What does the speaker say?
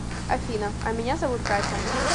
афина а меня зовут катя